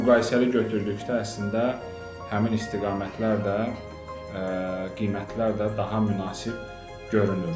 Və müqayisəli götürdükdə əslində həmin istiqamətlər də, qiymətlər də daha münasib görünür.